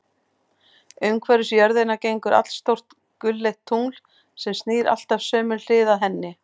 Umhverfis jörðina gengur allstórt gulleitt tungl, sem snýr alltaf sömu hlið að henni.